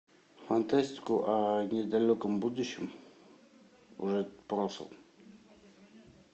фантастику о недалеком будущем уже прошлом